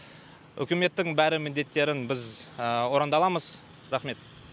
үкіметтің бәрі міндеттерін біз орындаламыз рақмет